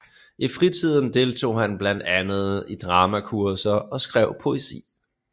I fritiden deltog han blandt andet i dramakurser og skrev poesi